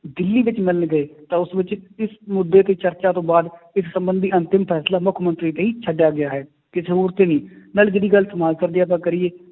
ਦਿੱਲੀ ਵਿੱਚ ਮਿਲਣ ਗਏ ਤਾਂ ਉਸ ਵਿੱਚ ਇਸ ਮੁੱਦੇ ਤੇ ਚਰਚਾ ਤੋਂ ਬਾਅਦ ਇਸ ਸੰਬੰਧੀ ਅੰਤਿਮ ਫੈਸਲਾ ਮੁੱਖ ਮੰਤਰੀ ਲਈ ਛੱਡਿਆ ਗਿਆ ਹੈ, ਕਿਸੇ ਹੋਰ ਤੇ ਨਹੀਂ ਨਾਲੇ ਜਿਹੜੀ ਗੱਲ ਜੇ ਆਪਾਂ ਕਰੀਏ